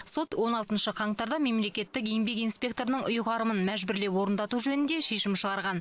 сот он алтыншы қаңтарда мемлекеттік еңбек инспекторының ұйғарымын мәжбүрлеп орындату жөнінде шешім шығарған